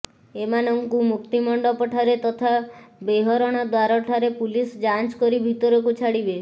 ଏମାନଙ୍କୁ ମୁକ୍ତିମଣ୍ଡପ ଠାରେ ତଥା ବେହରଣ ଦ୍ବାର ଠାରେ ପୁଲିସ ଯାଞ୍ଚ୍ କରି ଭିତରକୁ ଛାଡିବେ